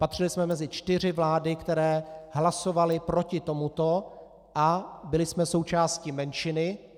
Patřili jsme mezi čtyři vlády, které hlasovaly proti tomuto, a byli jsme součástí menšiny.